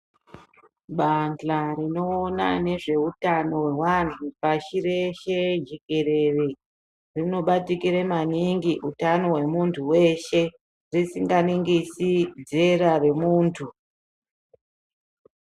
Bahla rinoona nezveutano hwevantu pasi rese jekerere rinobatikire manhingi utano hwemuntu weshe risingaringisi dzera remuntu.